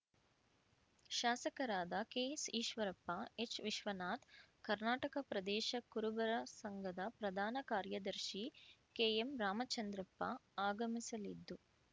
ಶಾಸಕರಾದ ಕೆಎಸ್‌ಈಶ್ವರಪ್ಪ ಎಚ್‌ವಿಶ್ವನಾಥ್‌ ಕರ್ನಾಟಕ ಪ್ರದೇಶ ಕುರುಬರ ಸಂಘದ ಪ್ರಧಾನ ಕಾರ್ಯದರ್ಶಿ ಕೆಎಂ ರಾಮಚಂದ್ರಪ್ಪ ಆಗಮಿಸಲಿದ್ದು